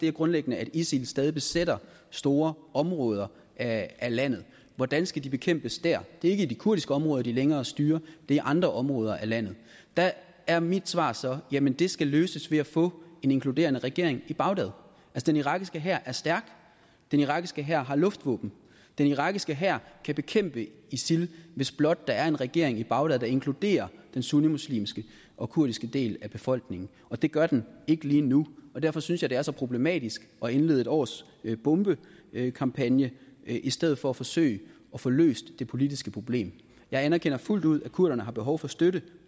er grundlæggende at isil stadig besætter store områder af landet hvordan skal de bekæmpes dér det er ikke i de kurdiske områder de længere styrer det er andre områder af landet der er mit svar så jamen det skal løses ved at få en inkluderende regering i bagdad den irakiske hær er stærk den irakiske hær har luftvåben den irakiske hær kan bekæmpe isil hvis blot der er en regering i bagdad der inkluderer den sunnimuslimske og kurdiske del af befolkningen og det gør den ikke lige nu derfor synes jeg at det er så problematisk at indlede et års bombekampagne i stedet for at forsøge at få løst det politiske problem jeg anerkender fuldt ud at kurderne har behov for støtte